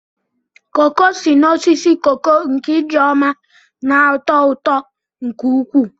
koko si n'osisi koko nke Ijeoma na-atọ ụtọ nke ukwuu.